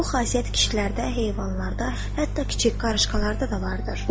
Bu xasiyyət kişilərdə, heyvanlarda, hətta kiçik qarışqalarda da vardır.